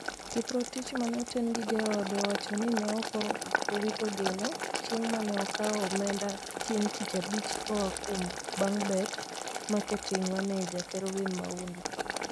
Kiprotich mane oten gi jaode owacho ni ne oko owito geno, chieng mane okawo omenda chieng tich abich koa kuom BangBet Marketing Manager Kelvin Maundu.